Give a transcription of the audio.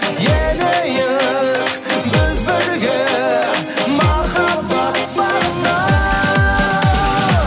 енейік біз бірге махаббат бағына